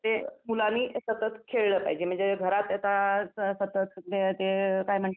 ते मुलांनी सतत खेळलं पाहिजे म्हणजे घरात सतत आता ते काय म्हणतात